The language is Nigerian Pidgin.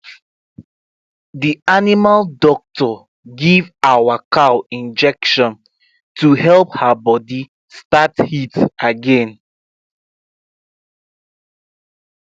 the animal doctor give our cow injection to help her body start heat again